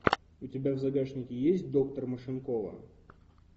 у тебя в загашнике есть доктор машинкова